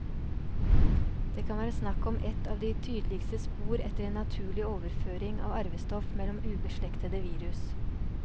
Det kan være snakk om et av de tydeligste spor etter en naturlig overføring av arvestoff mellom ubeslektede virus.